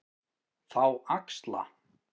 Þá axla